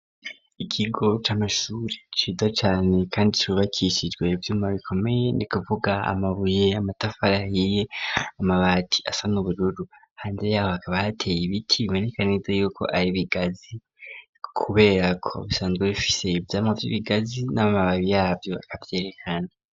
Ikigo c'amashuri cido cane kandi shubakishijwe by'uma bikomeye ni kuvuga amabuye amatafara hiye amabati asa n ubururu hanze yaho hakaba hateye ibiti bibonekaneza yuko ari bigazi kubera ku busanzwe bifise iby'amavyo ibigazi n'amababi yabyo akvyerekana.